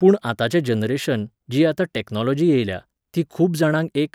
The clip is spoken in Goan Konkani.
पूण आतांचें जनरेशन, जी आतां टॅक्नॉलॉजी येयल्या, ती खूब जाणांक एक